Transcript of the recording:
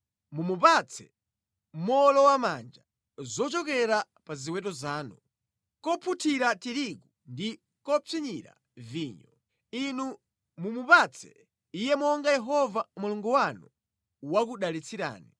Mumupatse mowolowamanja zochokera pa ziweto zanu, kopunthira tirigu ndi kopsinyira vinyo. Inu mumupatse iye monga Yehova Mulungu wanu wakudalitsirani.